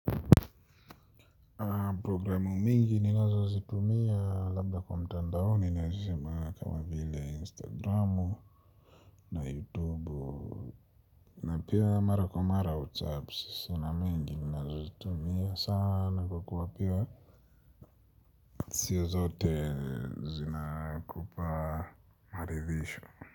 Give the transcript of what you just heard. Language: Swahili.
Programu mingi ninazo zitumia labda kwa mtandaoni naweza sema kama vile instagram na youtube na pia mara kwa mara whatsapp na mingi ninazo zitumia sana kukuwa pia sio zote zina kupaa maridhisho.